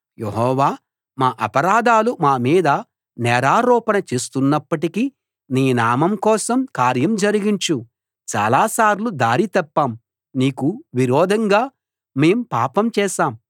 యెహోవా మా అపరాధాలు మా మీద నేరారోపణ చేస్తున్నప్పటికీ నీ నామం కోసం కార్యం జరిగించు చాలాసార్లు దారి తప్పాం నీకు విరోధంగా మేము పాపం చేశాం